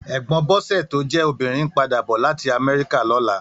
Ègbòn Bose tó jè óbirín n pàdá bò làtí Amèriká lòlá